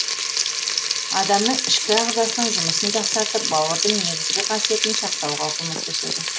адамның ішкі ағзасының жұмысын жақсартып бауырдың негізгі қасиетін сақтауға көмөктеседі